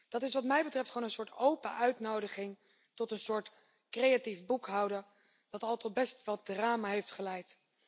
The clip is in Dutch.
Dat is wat mij betreft een open uitnodiging tot een soort creatief boekhouden dat al tot best wat drama heeft geleid.